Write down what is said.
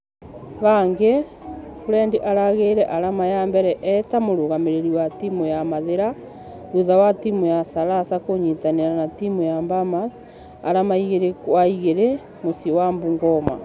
Hangĩ, Fred arageire arama ya mbere e ta mũrũgamĩrĩri wa timũ ya mathĩra thutha wa timũ ya salasa kũnyĩtanĩra na timũ ya bamas , arama igĩrĩ gwa igĩrĩ mũciĩ wa bungoma.